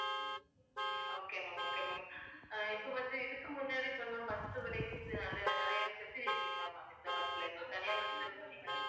உம் okay ma'am okay ma'am அஹ் இப்ப வந்து, இதுக்கு முன்னாடி சொன்ன bus அ இது நல்ல நிறைய facility உண்டா ma'am இந்த bus ல இந்த தனியார் bus ன்னு இப்ப சொன்னீங்கள்ல